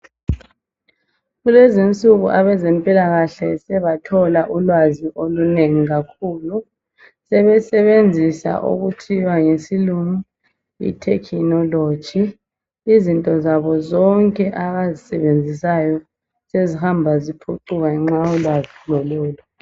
Kulezinsuku abezempilakahle sebathola ulwazi olunengi kakhulu sebesebenzisa okuthiwa ngesilungu itechnology izinto zabo zonke abazisebenzisayo sezihamba ziphucuka ngenxa yolwazi lololu.